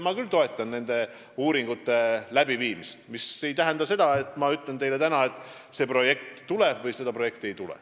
Mina küll toetan uuringute tegemist, mis aga ei tähenda seda, et ma ütlen teile siin ja praegu, kas see projekt tuleb või seda ei tule.